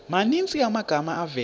maninzi amagama avela